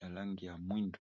ya langi ya mwindu.